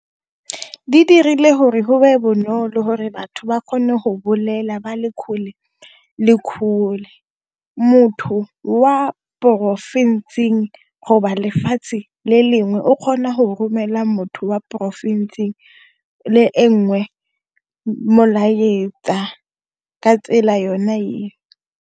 Di dirile gore go nne bonolo gore batho ba kgone go bolela ba le kgole le kgole motho wa porofensing go ba lefatshe le lengwe o kgona go romelela motho wa porofensing le e nngwe molaetsa ka tsela yona eo.